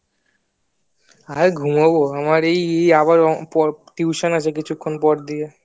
আর ঘুমাবো আমার এই এই পর tuition আছে কিছুক্ষণ পর দিয়ে